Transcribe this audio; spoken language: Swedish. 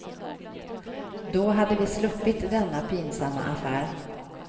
Då hade vi sluppit denna pinsamma affär.